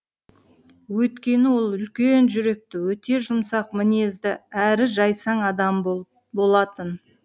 өйткені ол үлкен жүректі өте жұмсақ мінезді әрі жайсаң адам болатын